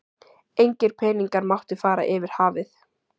Engir peningar máttu fara yfir hafið.